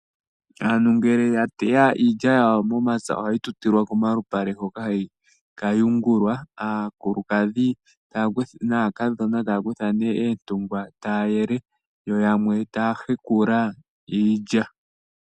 Aantu ngele ya teya iilya yawo momapya ohayi tutilwa komalupale hoka hayi ka yungulwa, aakulukadhi naakadhona taya kutha ihe oontungwa taya yele yo yamwe taya hekula iilya.